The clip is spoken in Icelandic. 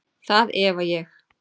Það efa ég.